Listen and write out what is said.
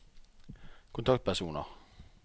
kontaktpersoner